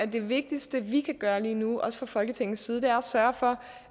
det vigtigste vi kan gøre lige nu også fra folketingets side at sørge for